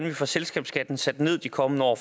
vi får selskabsskatten sat ned de kommende år